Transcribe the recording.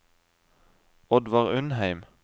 Oddvar Undheim